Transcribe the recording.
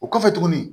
O kɔfɛ tuguni